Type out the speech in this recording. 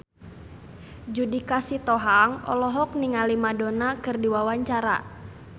Judika Sitohang olohok ningali Madonna keur diwawancara